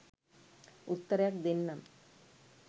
උත්තරයක් දෙන්නම්.